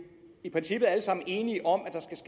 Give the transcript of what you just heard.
i princippet alle sammen enige om